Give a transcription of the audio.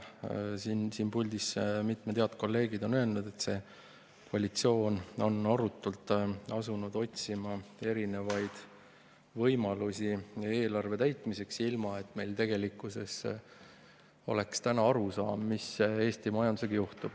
Siin puldis on mitmed head kolleegid öelnud, et see koalitsioon on arutult asunud otsima erinevaid võimalusi eelarve täitmiseks, ilma et meil oleks täna arusaama, mis Eesti majandusega juhtub.